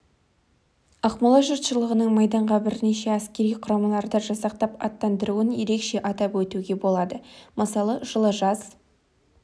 ақмола жұртшылығының майданға бірнеше әскери құрамаларды жасақтап аттандыруын ерекше атап өтуге болады мысалы жылы жаз